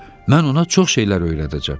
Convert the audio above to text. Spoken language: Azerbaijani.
Mən ona çox şeylər öyrədəcəm.